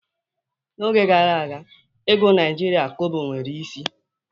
N'oge gara aga, ego Naijiria Kobo nwere isi